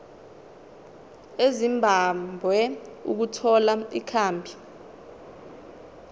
ezimbabwe ukuthola ikhambi